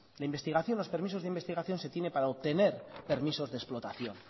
la investigación los permisos de investigación se tiene para obtener permisos de explotación